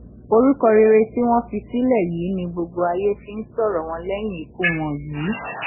orúkọ rere tí wọn fi sílẹ yìí ni gbogbo ayé fi ń sọrọ wọn lẹyìn ikú wọn yìí